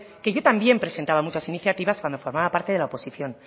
que yo también presentaba muchas iniciativas cuando formaba parte de la oposición